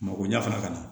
Mako ɲɛ fana ka na